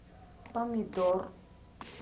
помидор